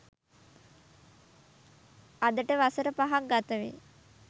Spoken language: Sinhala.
අදට වසර පහක් ගත වෙයි.